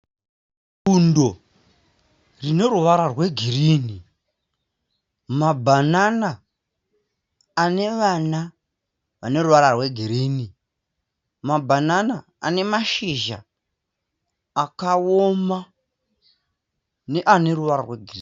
Bundo rine ruvara rwegirinhi. Mabhanana ane vana vane ruvara rwegirinhi. Mabhanana ane mashizha akawoma neane ruvara rwegirinhi.